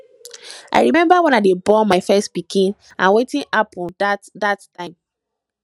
i remember wen i dey born my first pikin and wetin happen dat dat time